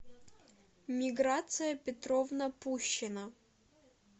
миграция петровна пущина